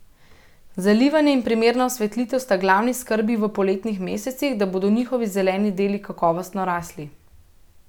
Zalivanje in primerna osvetlitev sta glavni skrbi v poletnih mesecih, da bodo njihovi zeleni deli kakovostno rasli.